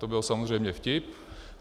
To byl samozřejmě vtip.